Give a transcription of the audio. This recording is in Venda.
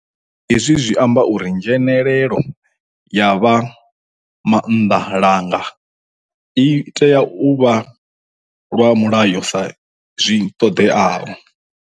Hezwi zwi amba uri nzhe nelelo ya vhamaanḓalanga i tea u vha lwa mulayo sa zwi ṱoḓeaho.